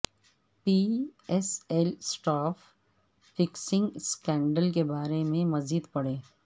پی S L spot fixing scandal کے بارے میں مزید پڑھیے